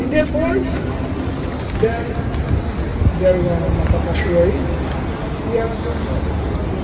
E depois, deram, fizeram uma uma falcatrua aí e ela foi à falência.